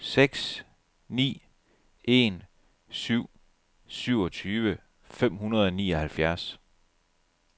seks ni en syv syvogtyve fem hundrede og nioghalvfjerds